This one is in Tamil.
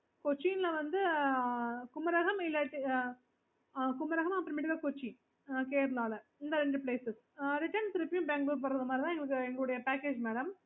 okayokay okay